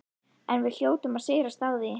En við hljótum að sigrast á því.